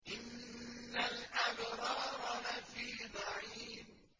إِنَّ الْأَبْرَارَ لَفِي نَعِيمٍ